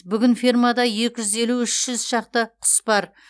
бүгін фермада екі жүз елу үш жүз шақты құс бар